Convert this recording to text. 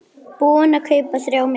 Búinn að kaupa þrjá miða.